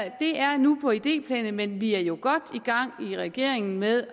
nu på idéplanet men vi er jo godt i gang i regeringen med